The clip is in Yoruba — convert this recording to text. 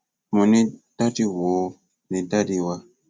mo ní dádì wò ó ní dádì wà